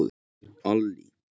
Allý